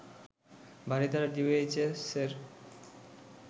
Baridhara ডিওএইচএসের